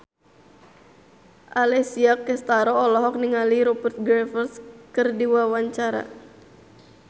Alessia Cestaro olohok ningali Rupert Graves keur diwawancara